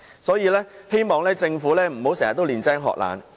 因此，我希望政府不要經常"練精學懶"。